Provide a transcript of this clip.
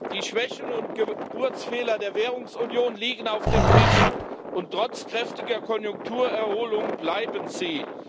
Die Schwächen und Geburtsfehler der Währungsunion liegen auf dem Tisch, und trotz kräftiger Konjunkturerholung bleiben sie.